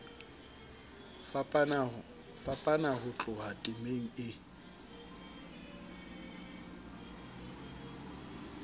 fapana ho tloha temeng e